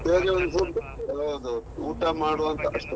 ಈವಾಗ ಒಂದು food ಹೌದು ಹೌದು, ಊಟ ಮಾಡುವಂತ ಅಷ್ಟೆ.